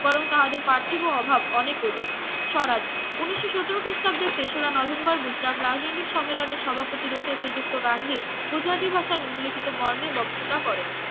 বরং তাহাদের পার্থিব অভাব অনেক অধিক স্বরাজ ঊনিশো সতেরো খ্রীষ্টাব্দের তেসরা নভেম্বর গুজরাট রাজনৈতিক সম্মেলনে সভাপতি রূপে শ্রীযুক্ত গান্ধী গুজরাটি ভাষা নিন্মলিখিত মর্মে বক্তৃতা করেন